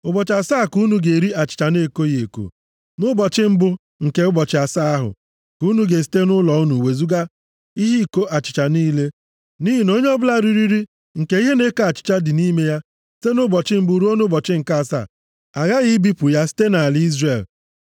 Ụbọchị asaa ka unu ga-eri achịcha na-ekoghị eko. + 12:15 Ọ bụ nri a ha riri nʼabalị ụbọchị ahụ mere e ji akpọ ncheta Mmemme Ngabiga, Mmemme achịcha na-ekoghị eko. Nʼụbọchị mbụ nke ụbọchị asaa ahụ, ka unu ga-esite nʼụlọ unu wezuga ihe iko achịcha niile, nʼihi na onye ọbụla riri nri nke ihe na-eko achịcha dị nʼime ya site nʼụbọchị mbụ ruo nʼụbọchị nke asaa, aghaghị ibipụ ya site nʼala Izrel.